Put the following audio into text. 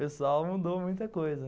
Pessoal, mudou muita coisa.